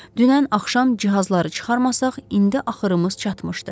Dünən axşam cihazları çıxarmasaq, indi axırımız çatmışdı.